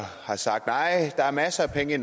har sagt der er masser af penge